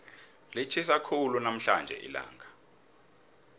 litjhisa khulu namhlanje ilanga